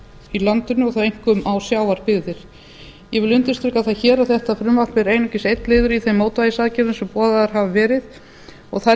í landinu og þá einkum á sjávarbyggðir ég vil undirstrika það hér að þetta frumvarp er einungis einn liður í þeim mótvægisaðgerðum sem boðaðar hafa verið og þær